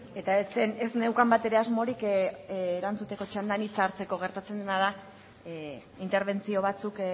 eta ez zen ez neukan batere asmorik erantzuteko txandan hitza hartzeko gertatzen dena da interbentzio batzuk